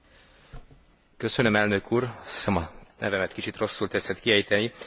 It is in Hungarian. Gratulálok a jelentéstevőnek, és köszönet jár a biztos úrnak is a támogatásáért.